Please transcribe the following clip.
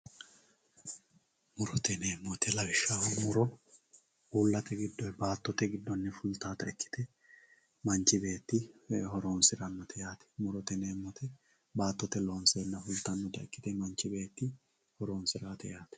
murote yineemmo woyiite lawishshaho uullate giddoonni baattote giddonni fultawoota ikkite manchi beetti horoonsirannote yaate murote yineemmoti baattote loonseenna fultannota ikkite manchi beetti horoonsirawoote yaate